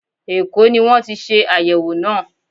Èkó ní wọ́n ti ṣe àyẹ̀wò náà.